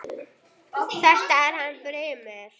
Þetta er hann Brimar.